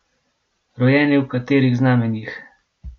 Rojeni v katerih znamenjih?